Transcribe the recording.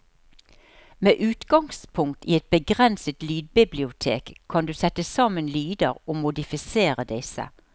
Med utgangspunkt i et begrenset lydbibliotek kan du sette sammen lyder og modifisere disse.